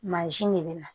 Mansin de bɛ na